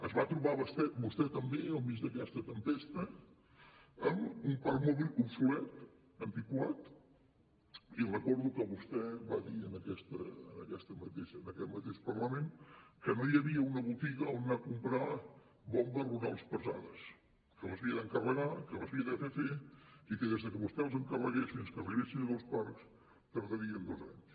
es va trobar vostè també al mig d’aquesta tempesta amb un parc mòbil obsolet antiquat i recordo que vostè va dir en aquest mateix parlament que no hi havia una botiga on anar a comprar bombes rurals pesades que les havia d’encarregar que les havia de fer fer i que des que vostè les encarregués fins que arribessin als parcs tardarien dos anys